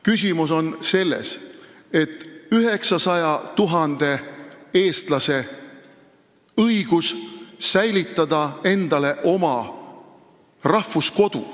Küsimus on 900 000 eestlase õiguses säilitada oma rahvuskodu.